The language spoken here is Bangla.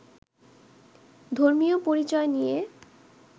ধর্মীয় পরিচয় নিয়ে